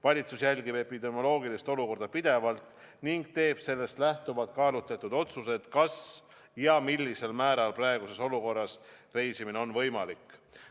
Valitsus jälgib epidemioloogilist olukorda pidevalt ning teeb sellest lähtuvalt kaalutletud otsused, millisel määral ja kas üldse on praeguses olukorras reisimine võimalik.